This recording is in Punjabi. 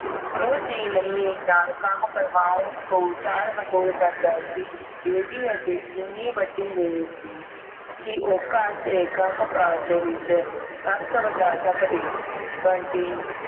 ਉਸ ਦੀ ਮੰਮੀ ਦੇ ਨਾਲ ਕੰਮ ਕਰਵਾਉਣ ਤੋਂ ਟਾਲ-ਮਟੋਲ ਕਰਦਾ ਸੀ ਬੇਬੀ ਹਜੇ ਏਨੀ ਵੱਡੀ ਨਹੀਂ ਸੀ ਕੀ ਉਹੋ ਘਰ ਦੇ ਕੰਮ ਕਾਰ ਵਿਚ ਹੱਥ ਵਟਾ ਸਕਦੀ ਬੰਟੀ